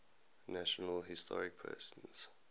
national historic persons